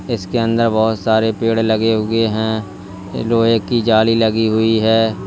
इसके अंदर बहुत सारे पेड़ लगे हुए हैं लोहे की जाली लगी हुई है।